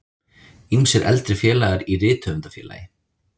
Ýmsir eldri félagar í Rithöfundafélagi